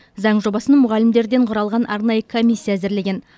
заң жобасын мұғалімдерден құралған арнайы комиссия әзірлеген